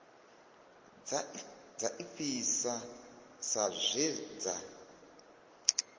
dza ifhasi sa zwe dza